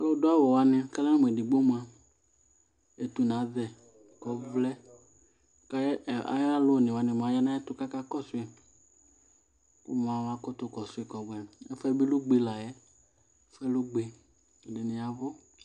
Alʋ dʋ awʋ wanɩ ka ala mʋ edigbo mʋa ,etuna azɛ kɔvlɛ ; kayalʋ one wanɩ mʋa aya nayɛtʋ kaka kɔsʋɩKʋ mʋ amakʋtʋ kɔsʋɩ kɔbʋɛ ?Ɛfʋɛ bɩ lɛ ugbe layɛ ,ɛfʋɛ lɛ ugbe Ɛdɩnɩ yavʋ